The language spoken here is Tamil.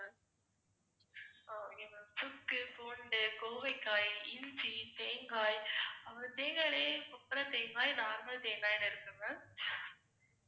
சுக்கு, பூண்டு, கோவைக்காய், இஞ்சி, தேங்காய், அப்புறம் தேங்காயிலேயே கொப்புரை தேங்காய் normal தேங்காய்ன்னு இருக்கு ma'am